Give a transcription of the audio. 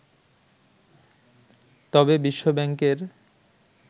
তবে বিশ্বব্যাংকের